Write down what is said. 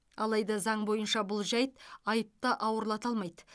алайда заң бойынша бұл жайт айыпты ауырлата алмайды